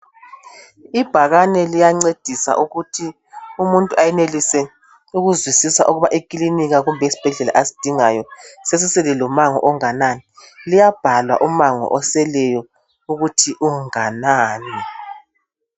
Ibhakani liyancedisa ukuthi umuntu ayenelise ukuzwisisa ukuba ekilinika kumbe esibhedlela asidingayo asidingayo sesisele lomango onganani. Llibhalwa umango oseleyo ukuthi unganani.